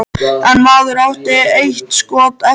En maðurinn átti eitt skot eftir.